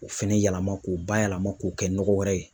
K'o fɛnɛ yɛlɛma, k'o bayɛlɛma ,k'o kɛ nɔgɔ wɛrɛ ye.